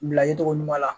Bila ye cogo ɲuman la